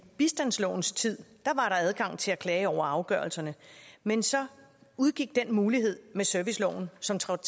bistandslovens tid der adgang til at klage over afgørelserne men så udgik den mulighed med serviceloven som trådte